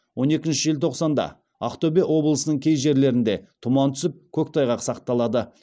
он екінші желтоқсанда ақтөбе облысының кей жерлерінде тұман түсіп көктайғақ сақталады